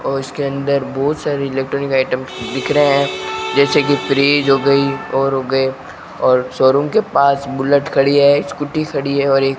और इसके अंदर बहोत सारे इलेक्ट्रॉनिक आइटम दिख रहे हैं जैसे कि फ्रीज हो गई और हो गए और शोरूम के पास बुलेट खड़ी है स्कूटी खड़ी है और एक--